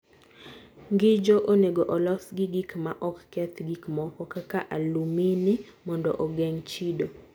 Ng'injo onego olos gi gik ma ok keth gik moko (kaka alumini) mondo ogeng ' chido